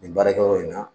Nin baarakɛyɔrɔ in na